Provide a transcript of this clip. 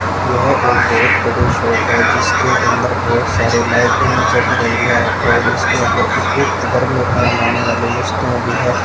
यहां पर एक शॉप है जिसके अंदर ढेर सारी लाइटें जग रही है भी है।